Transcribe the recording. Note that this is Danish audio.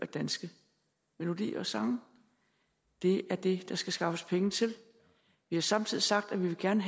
danske melodier og sange det er det der skal skaffes penge til vi har samtidig sagt at vi gerne